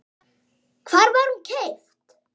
Hvar var hún keypt?